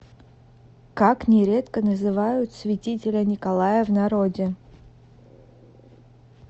как нередко называют святителя николая в народе